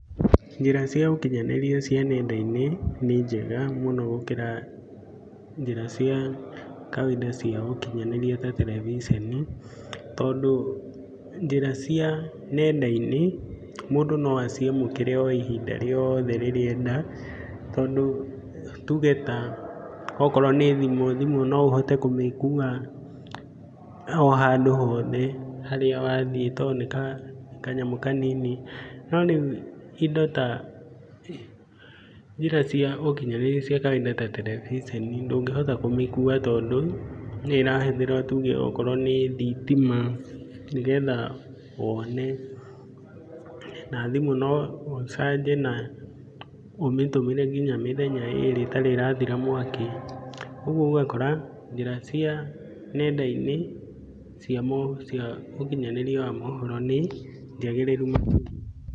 Njĩra cia ũkinyanĩria cia nenda-inĩ, nĩ njega mũno gũkĩra, njĩra ciakawainda cia ũkinyanĩria ta karabiceni. Tondũ, njĩra cia nenda-inĩ mũndũ no aciamũkĩre o ihinda rĩothe rirĩa enda, tondũ tuge ta okorwo nĩ thimũ, thimũ no ũhote kũmĩkua, o handũ o hothe harĩa wathiĩ tondũ nĩ ta kanyamũ kanini. No rĩu indo ta, njĩra cia ũkinyanĩria cia kawainda ta terebiceni ndũngĩhota kũmĩkua tondũ nĩ ĩrahũthĩra tuge okorwo nĩ thitima, nĩ getha wone. Na thimũ no ũmĩcanje, na ũtũmĩre nginya mĩthenya ĩrĩ ĩtarĩ ĩrathira mwaki. Ũguo ũgakora njĩra cia nenda-inĩ cia, ũkinyanĩria wa mohoro nĩ njagĩrĩru makĩria.